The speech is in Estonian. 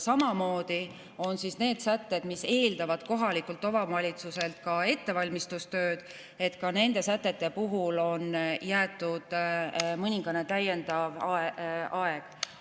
Samamoodi need sätted, mis eeldavad kohalikult omavalitsuselt ka ettevalmistustööd, ka nende sätete puhul on jäetud mõningane täiendav aeg.